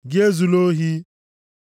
Gị ezula ohi.